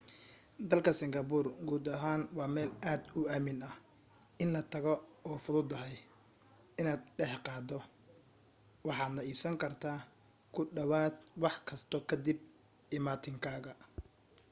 dalka singapore guud ahaan waa meel aad u aamin ah in la tago oo fududahay inaad dhexqaaddo waxaadna iibsan kartaa ku dhawaad wax kasta ka dib imaatinkaaga